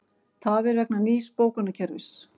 Tafir vegna nýs bókunarkerfis